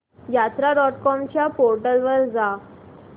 यात्रा dot com च्या portal वर जा